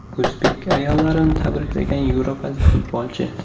O‘zbek ayollarini tabriklagan yevropalik futbolchi.